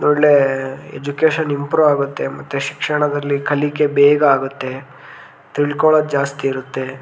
ಒಳ್ಳೆ education improve ಆಗುತ್ತೆ ಮತ್ತೆ ಶಿಕ್ಶಣದಲ್ಲಿ ಕಲಿಕೆ ಬೇಗ ಆಗುತ್ತೆ ತಿಳ್ಕೋಳೋದು ಜಾಸ್ತಿ ಇರುತ್ತೆ.